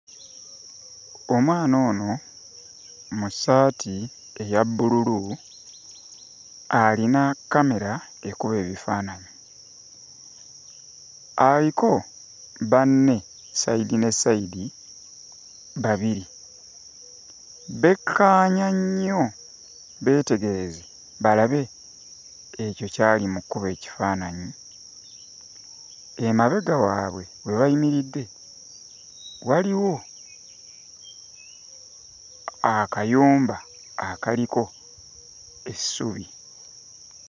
Omwana ono mu ssaati eya bbululu alina kkamera ekuba ebifaananyi. Aliko banne sayidi ne sayidi babiri. Bekkaanya nnyo beetegereze balabe ekyo ky'ali mu kkuba ekifaananyi. Emabega waabwe we bayimiridde waliwo akayumba akaliko essubi.